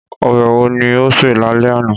Ọbẹ̀ wo ni o se lálẹ́ àná?